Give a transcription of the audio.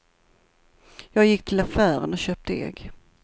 Jag gick till affären och köpte ägg.